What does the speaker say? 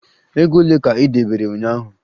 Ego ole ka ị debere ụnyaahụ?